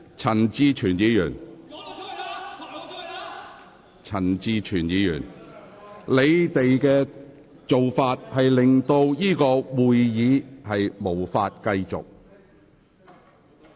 陳志全議員和各位議員，你們的做法令會議無法繼續。